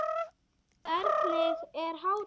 Hvenær er hádegi?